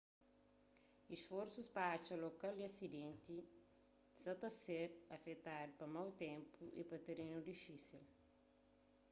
isforsus pa atxa lokal di asidenti sa ta ser afetadu pa mau ténpu y pa terenu difísil